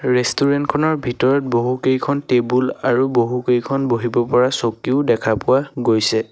Restaurant খনৰ ভিতৰত বহুকেইখন টেবুল আৰু বহুকেইখন বহিব পৰা চকীও দেখা পোৱা গৈছে।